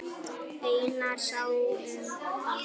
Einar sá um það.